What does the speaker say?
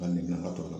Ka ne ka tɔ la